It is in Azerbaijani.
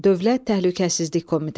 Dövlət Təhlükəsizlik Komitəsi.